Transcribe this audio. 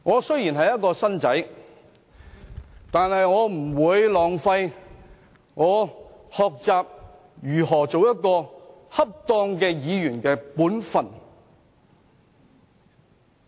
雖然我是"新丁"，但我不會浪費任何讓我學習如何做好議員本分的機會。